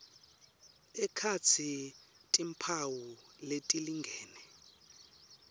ekhatsi timphawu letilingene